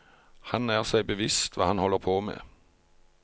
Han er seg bevisst hva han holder på med.